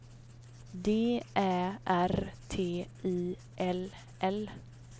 D Ä R T I L L